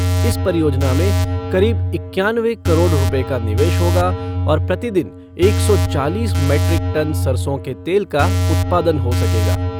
इस परियोजना में करीब इक्यानवे करोड़ रूपए का निवेश होगा और प्रतिदिन एक सौ चालीस मेट्रिक टन सरसों के तेल का उत्पादन हो सकेगा।